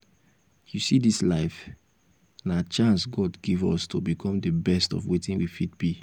you see dis life? na chance god give us to become the best of wetin we fit be